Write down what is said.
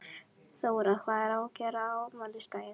Þóra: Hvað á að gera á afmælisdaginn?